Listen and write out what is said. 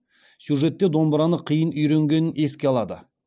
сюжетте домбыраны қиын үйренгенін еске алады